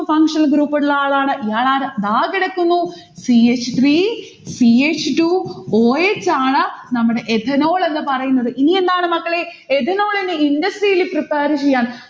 functional group ഉള്ള ആളാണ്. ഇയാളാരാ ദാ കിടക്കുന്നു c h three ch two o s ആണ് നമ്മടെ ethanol എന്ന് പറയുന്നത്. ഇനി എന്താണ് മക്കളെ ethanol നെ industry ൽ prepare ചെയ്യാൻ